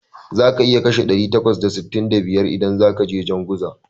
Za ka iya kashe ɗari takwas da sittin da biyar idan zakaje jan guza